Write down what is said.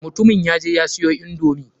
Mutumin ya je ya siyo indomi.